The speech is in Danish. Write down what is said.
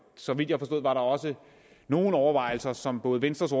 så vidt jeg forstod var der også nogle overvejelser som både venstres